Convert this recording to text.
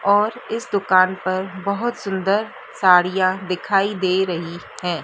और इस दुकान पर बहोत सुंदर साड़ियां दिखाई दे रही हैं।